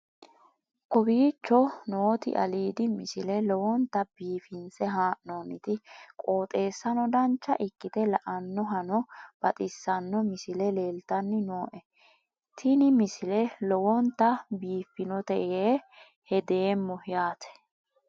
kowicho nooti aliidi misile lowonta biifinse haa'noonniti qooxeessano dancha ikkite la'annohano baxissanno misile leeltanni nooe ini misile lowonta biifffinnote yee hedeemmo yaate